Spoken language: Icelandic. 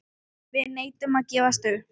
Við neitum að gefast upp.